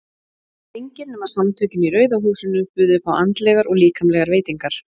En engir nema Samtökin í Rauða húsinu buðu upp á andlegar og líkamlegar veitingar.